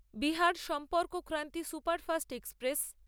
Bihar Sampark Kranti superfast express